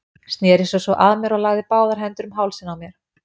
Sneri sér svo að mér og lagði báðar hendur um hálsinn á mér.